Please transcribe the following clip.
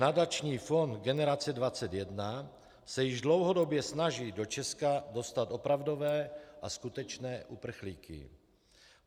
Nadační fond Generace 21 se již dlouhodobě snaží do Česka dostat opravdové a skutečné uprchlíky.